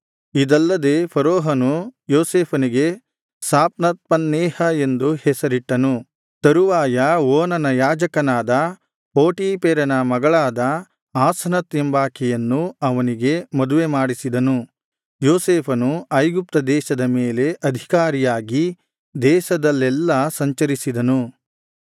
ಇದಲ್ಲದೆ ಫರೋಹನು ಯೋಸೇಫನಿಗೆ ಸಾಫ್ನತ್ಪನ್ನೇಹ ಎಂದು ಹೆಸರಿಟ್ಟನು ತರುವಾಯ ಓನನ ಯಾಜಕನಾದ ಪೋಟೀಫೆರನ ಮಗಳಾದ ಆಸನತ್ ಎಂಬಾಕೆಯನ್ನು ಅವನಿಗೆ ಮದುವೆಮಾಡಿಸಿದನು ಯೋಸೇಫನು ಐಗುಪ್ತದೇಶದ ಮೇಲೆ ಅಧಿಕಾರಿಯಾಗಿ ದೇಶದಲ್ಲೆಲ್ಲಾ ಸಂಚರಿಸಿದನು